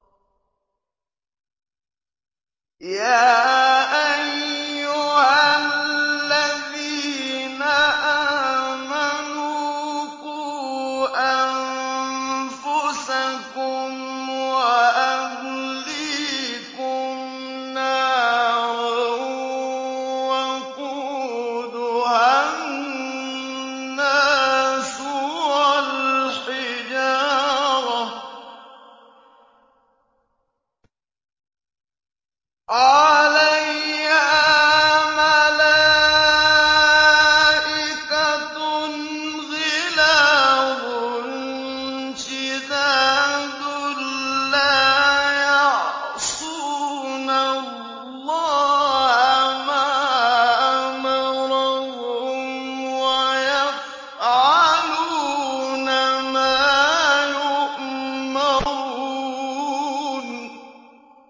يَا أَيُّهَا الَّذِينَ آمَنُوا قُوا أَنفُسَكُمْ وَأَهْلِيكُمْ نَارًا وَقُودُهَا النَّاسُ وَالْحِجَارَةُ عَلَيْهَا مَلَائِكَةٌ غِلَاظٌ شِدَادٌ لَّا يَعْصُونَ اللَّهَ مَا أَمَرَهُمْ وَيَفْعَلُونَ مَا يُؤْمَرُونَ